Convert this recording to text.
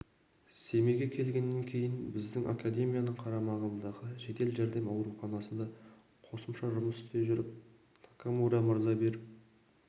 семейге келгеннен кейін біздің акедемияның қарамағындағы жедел жәрдем ауруханасында қосымша жұмыс істей жүріп такамура мырза беріп